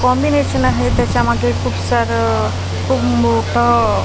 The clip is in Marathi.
कॉम्बिनेशन आहे त्याच्यामध्ये खूप सारं खूप मोठं --